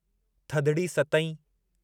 थधिड़ी, सतइं